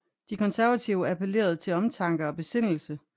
De konservative appellerede til omtanke og besindelse